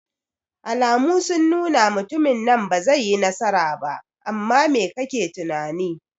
Alamu sun nuna mutumin nan bazai yi nasara ba, amma mai kake tunani?